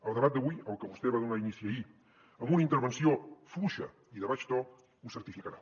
el debat d’avui al que vostè va donar inici ahir amb una intervenció fluixa i de baix to ho certificarà